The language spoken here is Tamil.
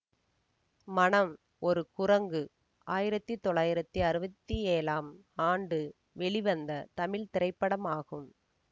மனம் ஒரு குரங்கு ஆயிரத்தி தொள்ளாயிரத்தி அறுபத்தி ஏழாம் ஆண்டு வெளிவந்த தமிழ் திரைப்படமாகும்